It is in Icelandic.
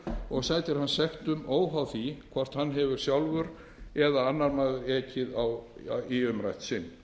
og sætir hann sektum óháð því hvort hann sjálfur eða annar maður hefur ekið í umrætt sinn